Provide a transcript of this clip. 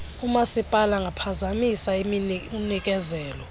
umasipala angaphazamisa unikezelo